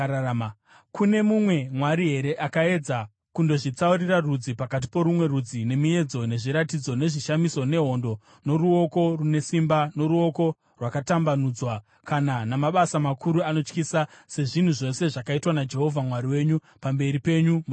Kune mumwe mwari here akaedza kundozvitsaurira rudzi pakati porumwe rudzi, nemiedzo, nezviratidzo, nezvishamiso, nehondo, noruoko rune simba, noruoko rwakatambanudzwa, kana namabasa makuru anotyisa, sezvinhu zvose zvakaitwa naJehovha Mwari wenyu pamberi penyu muIjipiti?